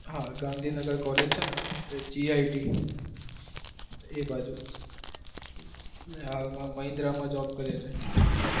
હા Gandhinagar college છે ન git એ બાજુ મહિન્દ્રા માં job કરે છે